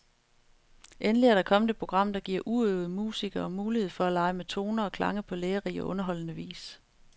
Endelig er der kommet et program, der giver uprøvede musikere mulighed for at lege med toner og klange på lærerig og underholdende vis.